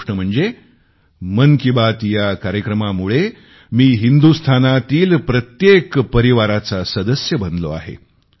ती गोष्ट म्हणजे मन की बात या कार्यक्रमामुळे मी हिंदुस्तानातील प्रत्येक परिवाराचा सदस्य बनलो आहे